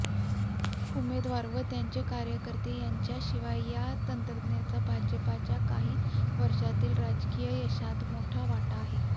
उमेदवार व त्यांचे कार्यकर्ते यांच्याशिवायच्या या यंत्रणेचा भाजपाच्या काही वर्षांतील राजकीय यशात मोठा वाटा आहे